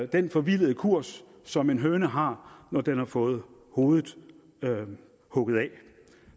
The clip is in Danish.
den forvildede kurs som en høne har når den har fået hovedet hugget af det